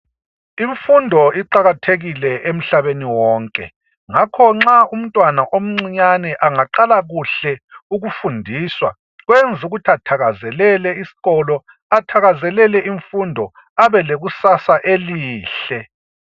Imfundo iqakathekile emhlabeni wonke ngakho nxa umntwana omncinyane angaqala kuhle ukufundiswa kwenza ukuthi athakazelele isikolo, athakazelele imfundo abe lekusasa elihle.